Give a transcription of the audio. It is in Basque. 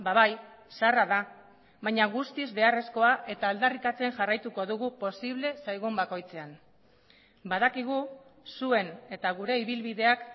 bai zaharra da baina guztiz beharrezkoa eta aldarrikatzen jarraituko dugu posible zaigun bakoitzean badakigu zuen eta gure ibilbideak